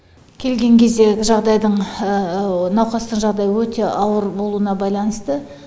келген кезде жағдайдың науқастың жағдайы өте ауыр болуына байланысты